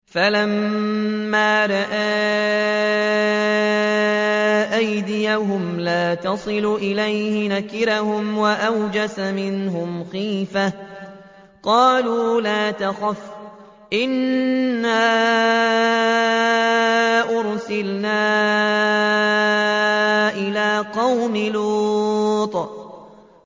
فَلَمَّا رَأَىٰ أَيْدِيَهُمْ لَا تَصِلُ إِلَيْهِ نَكِرَهُمْ وَأَوْجَسَ مِنْهُمْ خِيفَةً ۚ قَالُوا لَا تَخَفْ إِنَّا أُرْسِلْنَا إِلَىٰ قَوْمِ لُوطٍ